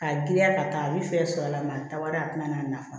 K'a giriya ka taa a bi fɛn sɔrɔ a la maa wɛrɛ a tɛna n'a nafa